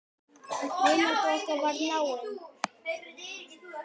Vinátta okkar varð náin.